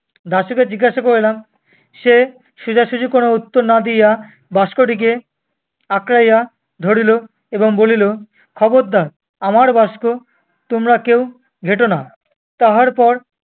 দাশুকে জিজ্ঞাসা করিলাম, সে সোজাসুজি কোনো উত্তর না দিয়া বাস্কটিকে আঁকড়াইয়া ধরিল এবং বলিল, খবরদার, আমার বাস্ক তোমরা কেউ ঘেঁটো না। তাহার পর